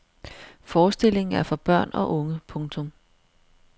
Forestillingen er for børn og unge. punktum